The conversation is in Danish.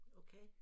Okay